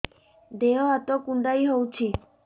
ଦେହ ହାତ କୁଣ୍ଡାଇ ହଉଛି